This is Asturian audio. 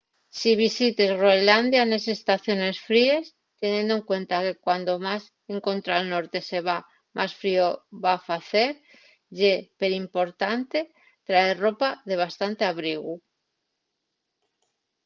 si visites groenlandia nes estaciones fríes teniendo en cuenta que cuando más escontra’l norte se va más frío va facer ye perimportante traer ropa de bastante abrigu